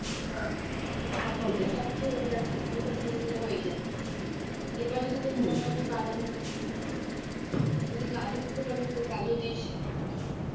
হালকা ঝুরো ঝুরো হয়ে যায় এবার যদি তোর মনে হয় তুই বাদাম যদি কাজু দিতে চাস কাজু তো কাজু দিস